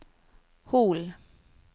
Hol